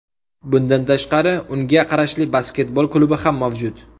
Bundan tashqari unga qarashli basketbol klubi ham mavjud.